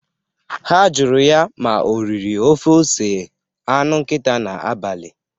Ha jụrụ ya ma o riri ofe ose anụ nkita n'abalị.